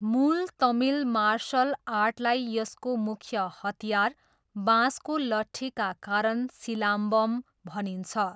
मूल तमिल मार्सल आर्टलाई यसको मुख्य हतियार, बाँसको लट्ठीका कारण सिलाम्बम भनिन्छ।